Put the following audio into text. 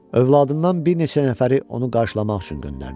Övladından bir neçə nəfəri onu qarşılamaq üçün göndərdi.